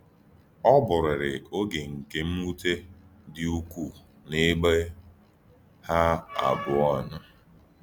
Ọ bụrịrị oge nke mwute dị ukwuu n’ebe ha abụọ nọ.